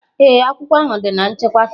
Ee, akwụkwọ ahụ dị na nchekwa faịlụ